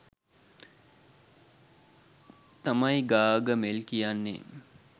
තමයි ගාගමෙල් කියන්නේ.